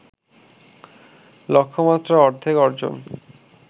লক্ষ্যমাত্রা অর্ধেক অর্জন